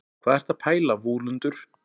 hvað ertu að pæla vúlundur